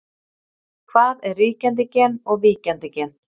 Hvað er ríkjandi gen og víkjandi gen?